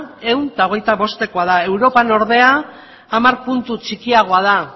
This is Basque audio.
ehun eta hogeita bostekoa da europan ordean hamar puntu txikiagoa da